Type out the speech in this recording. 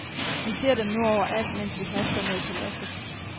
Vi ser dem nu overalt, mens vi haster mod paladset.